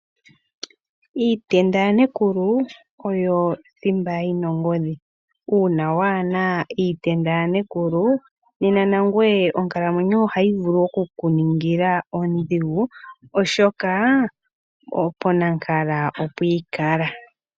Iitenda yaNekulu oyo thimba yina ongodhi. Uuna waana iitenda yaNekulu nena nangoye onkalamwenyo yoye ohayi vulu okukuningila ondhigu, oshoka ponankala opwiikala.